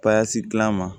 gilala ma